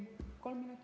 Kolm minutit.